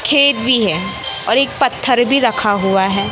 खेत भी है और एक पत्थर भी रखा हुआ है।